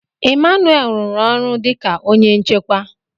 Emmanuel rụrụ ọrụ dị ka onye nchekwa.